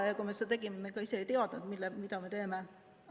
Ja kui me seda kõike tegime, siis me ise ei teadnud, mida me teeme.